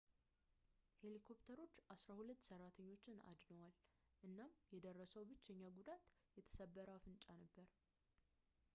ሄሊኮፕተሮች ዐሥራ ሁለት ሠራተኞች አድነዋል እናም የደረሰው ብቸኛ ጉዳት የተሰበረ አፍንጫ ነበር